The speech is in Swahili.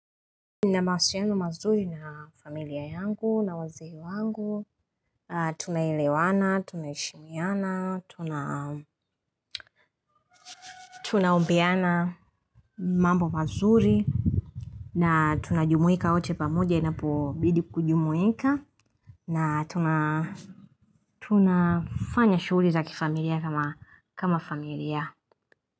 Nina mahusiano mazuri na familia yangu na wazee wangu. Tunaelewana, tunaheshimiana, tunaombeana mambo mazuri. Na tunajumuika wote pamoja inapobidi kujumuika. Na tunafanya shughuli za kifamilia kama familia.